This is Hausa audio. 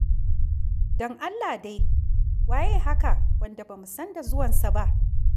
Don Allah dai! Waye haka wanda ba mu san da zuwansa ba?